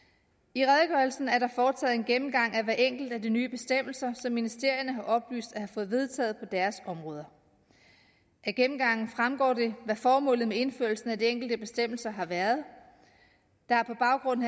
i redegørelsen er der foretaget en gennemgang af hver enkelt af de nye bestemmelser som ministerierne har oplyst at have fået vedtaget på deres områder af gennemgangen fremgår det hvad formålet med indførelsen af de enkelte bestemmelser har været der er på baggrund